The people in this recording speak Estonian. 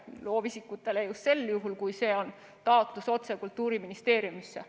Loovisikutele just sel juhul, kui on taotlus otse Kultuuriministeeriumisse.